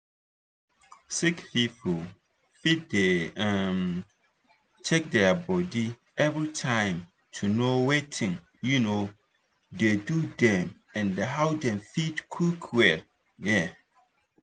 sick people fit dey um check their body everytime to know watin um dey do dem and how dem fit quick well. um